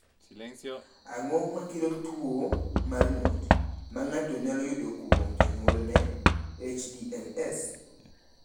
Ang’o ma kelo tuwo mar ng’ut ma ng’ato nyalo yudo kuom jonyuolne (HDLS)?